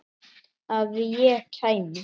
Að ég kæmi?